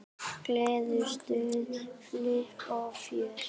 Gleði, stuð, flipp og fjör.